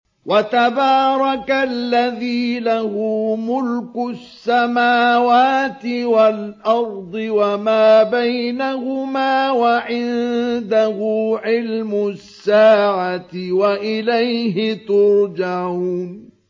وَتَبَارَكَ الَّذِي لَهُ مُلْكُ السَّمَاوَاتِ وَالْأَرْضِ وَمَا بَيْنَهُمَا وَعِندَهُ عِلْمُ السَّاعَةِ وَإِلَيْهِ تُرْجَعُونَ